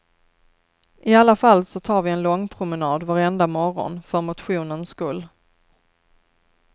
I alla fall så tar vi en långpromenad varenda morgon för motionens skull.